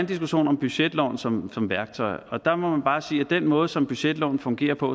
diskussion om budgetloven som som værktøj og der må man bare sige at den måde som budgetloven fungerer på